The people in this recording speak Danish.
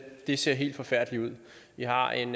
det ser helt forfærdeligt ud vi har en